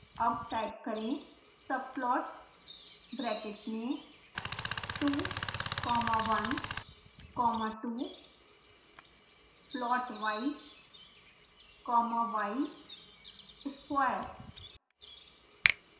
अब type करें